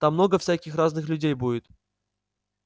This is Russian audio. там много всяких разных людей будет